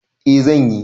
E, zan yi